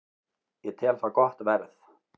Ég tel það gott verð